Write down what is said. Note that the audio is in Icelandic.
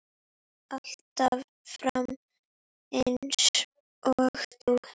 Alltaf fram eins og þú.